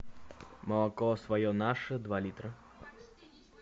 молоко свое наше два литра